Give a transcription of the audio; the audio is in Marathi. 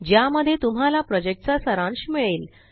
ज्यामध्ये तुम्हाला प्रॉजेक्टचा सारांश मिळेल